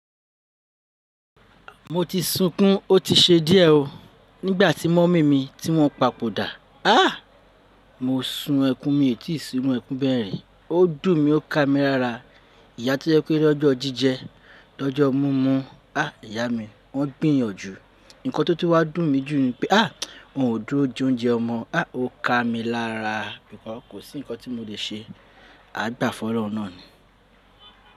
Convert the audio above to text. Mo ti sunkún, ó ti ṣe díẹ̀ oo. Nígbà tí mọ́mì mi tí wọ́n papòdà, ah! Mo sun ẹkún mi ètí sí inú ẹkún bẹ́ẹ̀ rí. Ó dùn mí, ó ká mi lára. Ìyá tó jẹ́ pé lọ́jọ́ jíjẹ, lọ́jọ́ mumu, ah! Ìyá mi, wọ́n gbìyànjú. Ǹkan tó ti wá dùn mí jù ni pé ah! Wọn ò dúró je oúnjẹ ọmọ. Ah! Ó ká mi lára. Sugbon kò sí nǹkan tí mo le ṣe. A gba fun ọ̀lorun náà ni.